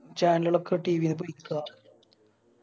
Channel കളൊക്ക TV ന്ന് പോയിക്ക